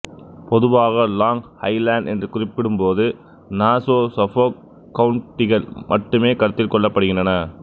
பொதுவாக long island என்று குறிப்பிடும்போது நாசோ சஃபோக் கவுன்ட்டிகள் மட்டுமே கருத்தில் கொள்ளப்படுகின்றன